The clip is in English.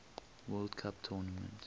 world cup tournament